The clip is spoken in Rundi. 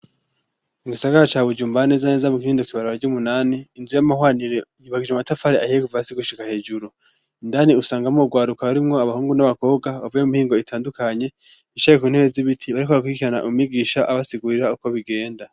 Mu gisagara ca bujumbura neza neza mu kinindo kw’ibarara ry'umunani inzu y'amahwanire yubakishije amatafari ahiye kuva hasi gushika hejuru ,indani usangamwo ugwaruka arimwo abahungu n'abakobwa bavuye mimihingo itandukanye bicaye ku ntebe z'ibiti bariko barakurikirana umwigisha abasigurira uko bigenda.